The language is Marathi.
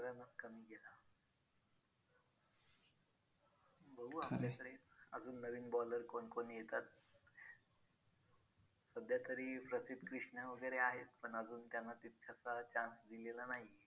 बघू आपल्याकडे अजून नवीन bowler कोण कोण येतात. सध्या तरी प्रसिद्ध कृष्णा वगैरे आहेत पण अजून त्यांना तितकासा chance दिलेला नाही आहे.